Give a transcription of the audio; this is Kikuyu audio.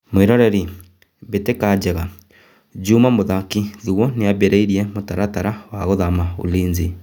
(mwĩroreri)mbĩtĩka njega Jumaa mũthaki Thuo nĩambĩrĩirie mũtaratara wa gũthama Ulinzi.